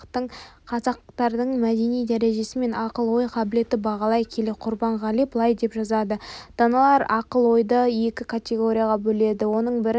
қазақтардың мәдени дәрежесі мен ақыл-ой қабілетін бағалай келе құрбанғали былай деп жазады даналар ақыл-ойды екі категорияға бөледі оның бірін